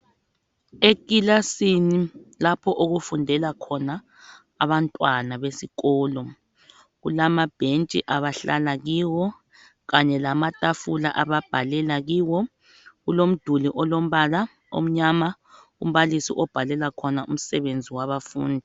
Ekilasini lapho okufundela khona abantwana besikolo. Kulamabhentshi abahlala kiwo kanye lamatafula ababhalela kiwo, kulomduli olombala omnyama umbalisi obhalela khona umsebenzi wabafundi.